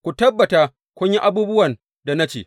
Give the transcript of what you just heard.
Ku tabbata kun yi abubuwan da na ce.